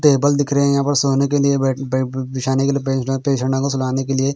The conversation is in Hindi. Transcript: टेबल दिख रहे हैं यहाँ पर सोने के लिए बेड बे बिछाने के लिए बेड पेशंटो को सुलाने के लिए--